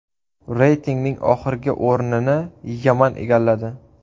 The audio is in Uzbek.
Reytingning oxirgi o‘rnini Yaman egalladi.